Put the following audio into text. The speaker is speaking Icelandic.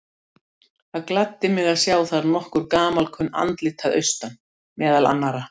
Það gladdi mig að sjá þar nokkur gamalkunn andlit að austan, meðal annarra